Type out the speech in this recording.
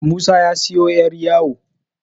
Musa ya siyo 'yaryawo